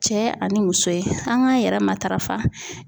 Cɛ ani muso ye, an k'a yɛrɛ matarafa.